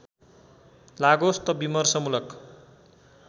लागोस् त विमर्शमूलक